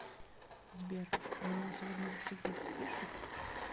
сбер у меня сегодня за кредит спишут